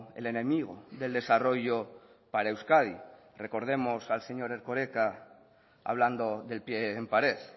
el enemigo del desarrollo para euskadi recordemos al señor erkoreka hablando del pie en pared